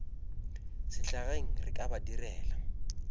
sehlageng re ka ba direla